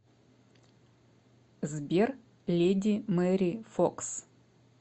сбер леди мэри фокс